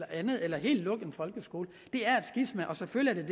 andet eller helt lukke en folkeskole det er et skisma selvfølgelig er